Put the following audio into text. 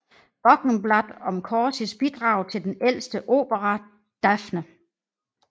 Wochenblatt om Corsis bidrag til den ældste opera Dafne